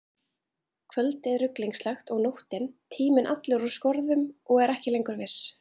Kvöldið ruglingslegt, og nóttin, tíminn allur úr skorðum og er ekki lengur viss.